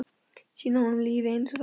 Sýna honum lífið einsog það er.